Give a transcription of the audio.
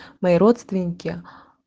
мои родственники